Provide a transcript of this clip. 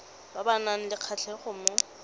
ba nang le kgatlhego mo